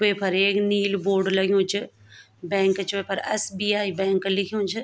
वेफर एक नीलू बोर्ड लग्युं च बैंक च वेफर एस.बी.आई. बैंक लिख्युं च।